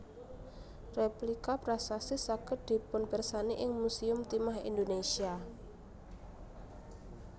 Rèplika prasasti saged dipunpirsani ing Musèum Timah Indonesia